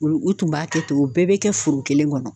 U u tun b'a kɛ ten o bɛɛ be kɛ forokelen kɔnɔ